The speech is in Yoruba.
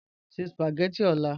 Sẹ̀ spagẹttị ọ̀là.